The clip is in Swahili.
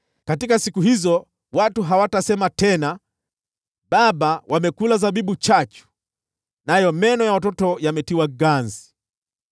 “Katika siku hizo, watu hawatasema tena, “ ‘Baba wamekula zabibu chachu, nayo meno ya watoto yakatiwa ganzi.’